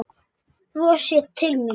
Brostir til mín.